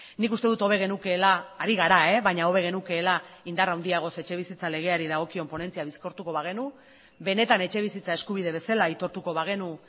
nik uste dut hobe genukeela ari gara baina hobe genukeela indar handiagoz etxebizitza legeari dagokion ponentzia bizkortuko bagenu benetan etxebizitza eskubide bezala aitortuko bagenu